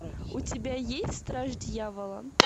у тебя есть страж дьявола